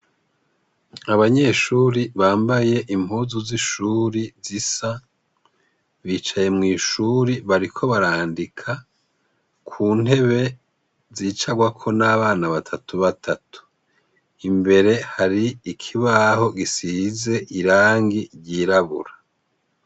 Abanyeshure bambaye impuzu z'ishure zisa bicaye mw'ishure bariko barandika ku ntebe zicagwako n'abana batatu batatu. Imbere hari ikibaho gisize irangi ryirabura.